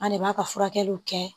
An de b'a ka furakɛliw kɛ